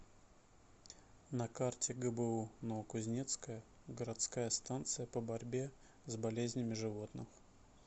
на карте гбу новокузнецкая городская станция по борьбе с болезнями животных